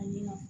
Ayiwa